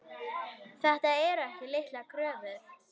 Þetta eru ekki litlar kröfur.